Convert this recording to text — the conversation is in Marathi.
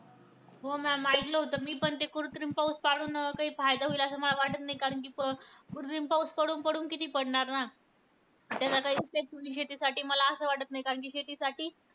योगदर्शन संख्याने वेळी योगदर्शकानी तो व्यक्तिवाद मांडला आहे. योगदर्शकांनी श्रेष्ठ उत्पत्ती मध्ये पंचवीस तत्वे तशीचा तशीच सव्वीस व तत्व ईश्वर मानले आहे.